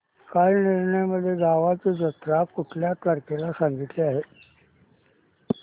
कालनिर्णय मध्ये गावाची जत्रा कुठल्या तारखेला सांगितली आहे